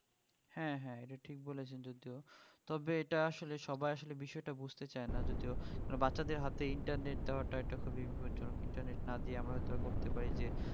হ্যাঁ হ্যাঁ এটা ঠিক বলেছেন যদিও তবে এটা আসলে সবাই আসলে বিষয়টা বুঝতে চায়না যদিও মানে বাচ্চাদের হাতেই internet দেওয়াটা এটা খুবই বিপজ্জনক internet না দিয়ে আমরা হয়ত করতে পারি যে